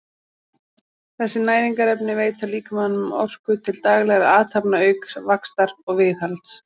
þessi næringarefni veita líkamanum orku til daglegra athafna auk vaxtar og viðhalds